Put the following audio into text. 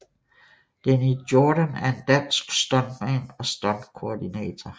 Deni Jordan er en dansk stuntmand og stuntkoordinator